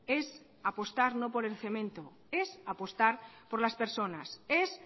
es apostar no por el cemento es apostar por las personas es